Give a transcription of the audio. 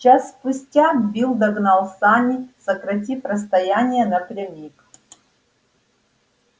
час спустя билл догнал сани сократив расстояние напрямик